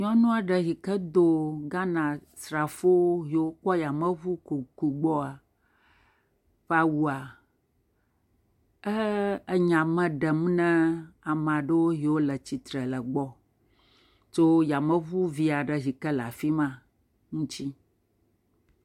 Nyɔnu aɖe yike do Ghanasrafowo yio kpɔ yameŋu kuku gbɔa ƒe awua, e.. enya me ɖem ne ame aɖewo yio le tsitre le gbɔ tso yameŋu vi aɖe yike le afi ma ŋtsi.